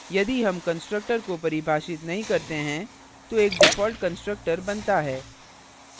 यदि हम constructor को परिभाषित नहीं करते हैं तो एक default constructor बनता है